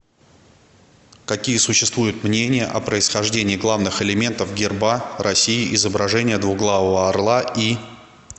какие существуют мнения о происхождении главных элементов герба россии изображение двуглавого орла и